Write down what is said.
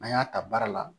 An y'a ta baara la